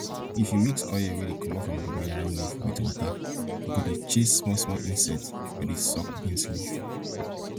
if you mix oil wey comot from dongoyaro leaf with water e go dey chase smallsmall insects wey dey suck beans leaf